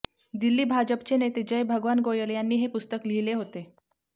दिल्ली भाजपचे नेते जयभगवान गोयल यांनी हे पुस्तक लिहिले होते